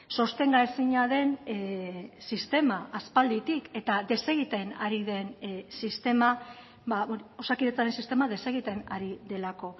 sostengaezina den sistema aspalditik eta desegiten ari den sistema osakidetzaren sistema desegiten ari delako